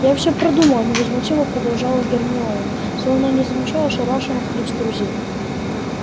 я всё продумала невозмутимо продолжала гермиона словно не замечая ошарашенных лиц друзей